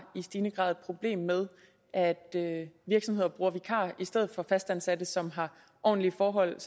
i stigende grad et problem med at at virksomheder bruger vikarer i stedet for fastansatte som har ordentlige forhold og